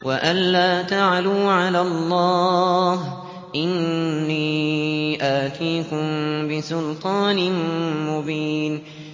وَأَن لَّا تَعْلُوا عَلَى اللَّهِ ۖ إِنِّي آتِيكُم بِسُلْطَانٍ مُّبِينٍ